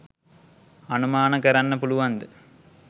අනුමාන කරන්න පුලුවන්ද?